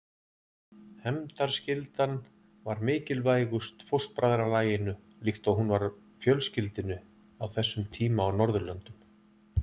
Hefndarskyldan var mikilvægust fóstbræðralaginu líkt og hún var fjölskyldunni á þessum tíma á Norðurlöndum.